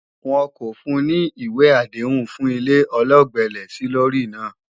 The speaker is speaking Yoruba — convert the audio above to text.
Wọn kò fun ní ìwé àdéhùn fún ilé ọlọ́gbẹ́lẹ́-sílórí náà